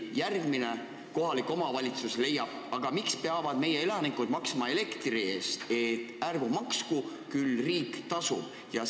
Järgmine kohalik omavalitsus leiab, aga miks peavad meie elanikud maksma elektri eest – et ärgu maksku, küll riik tasub võla.